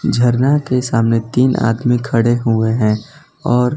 झरना के सामने तीन आदमी खडे हुए हैं और --